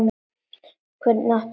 Hvernig átti hún að vita-?